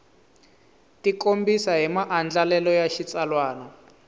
tikombisa hi maandlalelo ya xitsalwana